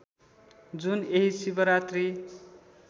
जुन यही शिवरात्रि